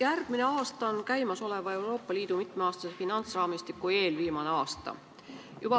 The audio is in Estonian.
Järgmine aasta on Euroopa Liidu praeguse mitmeaastase finantsraamistiku eelviimane aasta.